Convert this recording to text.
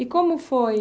E como foi?